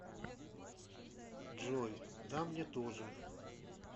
джой да мне тоже